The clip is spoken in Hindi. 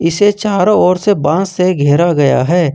इसे चारों ओर से बांस से घेरा गया है।